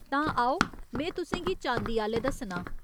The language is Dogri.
तां आओ में तुसें गी चांदी आह्‌ले दस्सनां।